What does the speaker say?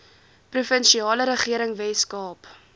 provinsiale regering weskaap